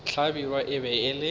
hlabirwa e be e le